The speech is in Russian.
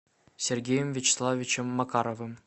сергеем вячеславовичем макаровым